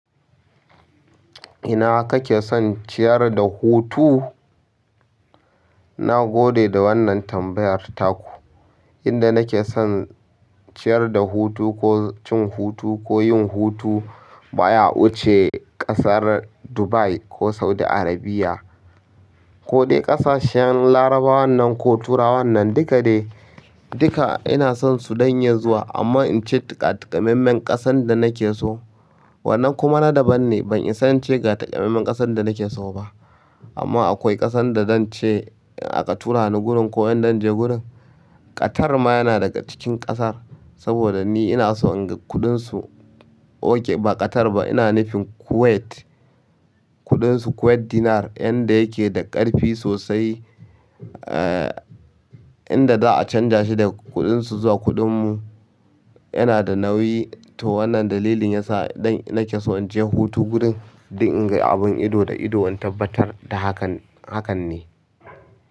Ina ka ke son ciyar da hutu? Na gode da wannan tambayar taku. Inda nake son ciyar da hutu ko cin hutu ko yin hutu, bara in ce ƙasar Dubai ko Saudi Arabia ko dai ƙasashen larabawan nan ko turawan nan duka dai, duka ina son su dan iya zuwa, amma in ce to ga takamammen ƙasan da nake so. Wannan kuma na daban ne, ban isa in ce ga takamaiman ƙasan da nake so ba. Amma akwai ƙasan da zan ce in aka tura ni gurin ko in zan je gurin. Qatar ma yana daga cikin ƙasar, saboda ni ina son in ga kuɗinsu. Oke ba Qatar ba, ina nufin Kuwait, kuɗinsu Kuwait dinar, inda yake da ƙarfi sosai. Inda za a canja shi da kuɗinsu zuwa kuɗinmu yana da nauyi. To wannan dalilin yasa nake son in je hutu gurin dan in ga abun ido da ido dan in tabbatar da abin haka ne.